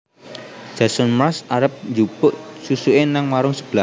Jason Mraz arep njupuk susuke nang warung sebelah